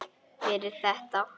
Fyrir þetta.